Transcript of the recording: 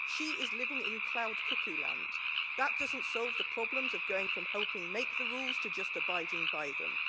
She is living in cloud cuckoo land. That doesn't solve the problems of going from helping to make the rules to just abiding by them.